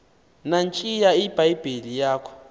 nantsiya ibhayibhile yakho